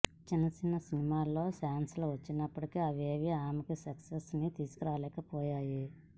చిన్న చిన్న సినిమాల్లో ఛాన్స్ లు వచ్చినప్పటికీ అవేవీ ఆమెకి సక్సెస్ ని తీసుకురాలేకపోయాయి